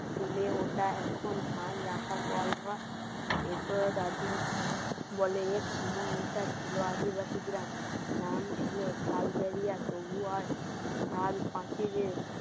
চুলে ওটা এখন ধান রাখা কল ঘর এ তোরা দাদুর বলে এক সময় এটা ছিল আদিবাসী গ্রাম নাম ছিল খালগেরিয়া তবুও আর সাল পাঁচিলে